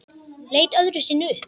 Leit öðru sinni upp.